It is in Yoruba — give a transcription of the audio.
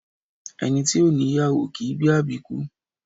Ẹni ti ò ní ìyàwó, kìí bí àbíkú